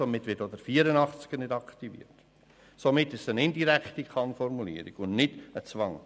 Somit wird auch Artikel 84 nicht aktiviert, und somit ist es eine indirekte KannFormulierung und nicht ein Zwang.